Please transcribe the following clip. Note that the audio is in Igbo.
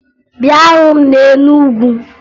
Bịa hụ m na Enugu!